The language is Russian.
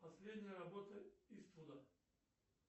последняя работа иствуда